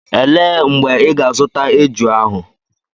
Elee mgbe ị ga-azụta eju ahụ?